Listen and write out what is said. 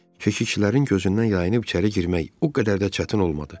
Keşikçilərin gözündən yayınıb içəri girmək o qədər də çətin olmadı.